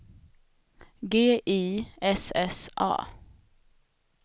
G I S S A